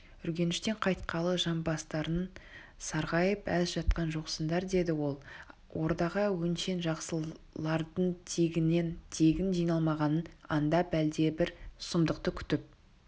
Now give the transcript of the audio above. үргеніштен қайтқалы жамбастарың сарғайып аз жатқан жоқсыңдар деді ол ордаға өңшең жақсылардыңтегіннен-тегін жиналмағанын аңдап әлдебір сұмдықты күтіп